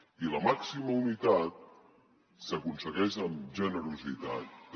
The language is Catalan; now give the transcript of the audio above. i la màxima unitat s’aconsegueix amb generositat també